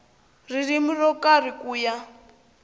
ririmi ro karhi ku ya